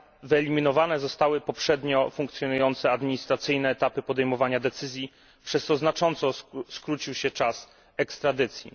Wyeliminowane zostały poprzednio funkcjonujące administracyjne etapy podejmowania decyzji, przez co znacząco skrócił się czas ekstradycji.